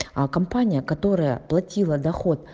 а компания которая платила доход